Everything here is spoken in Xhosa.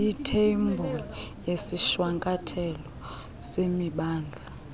itheyibhuli yesishwankathelo semimandla